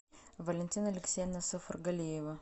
валентина алексеевна сафаргалиева